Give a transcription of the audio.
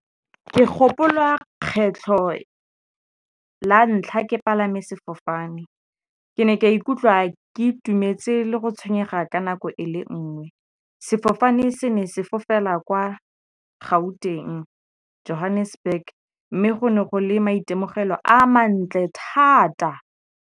Ke gopola kgetlho la ntlha ke palame sefofane, ke ne ka ikutlwa ke itumetse le go tshwenyega ka nako e le nngwe. Sefofane se ne se fofela kwa Gauteng, Johannesburg mme go ne go le maitemogelo a mantle thata!